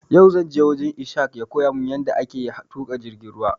Yau zanje wajen Ishaq ya koya mun yada ake tuƙa jirgin ruwa